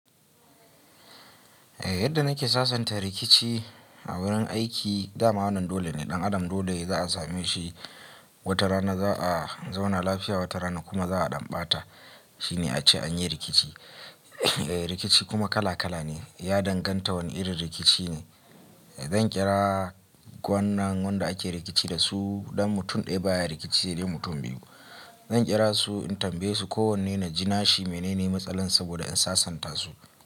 Yadda nake sasanta rikici a wurin aiki, dama wannan dole ne, ɗan adam dole za a same shi watarana za a zauna lafiya watarana kuma za a ɗan ɓata. Shi ne ace an yi rikici. Rikici kuma kala kala ne. Ya danganta wane irin rikici ne. Zan kira gwanan wadanda ake rikici da su. Dan mutum ɗaya baya rikici sai dai mutum biyu. Zan ƙira su in tambaye su kowanne na ji nashi mene ne matsalar saboda in sasanta su.